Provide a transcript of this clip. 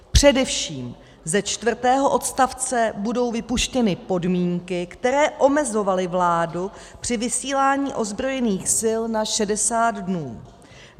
Především ze čtvrtého odstavce budou vypuštěny podmínky, které omezovaly vládu při vysílání ozbrojených sil na 60 dnů.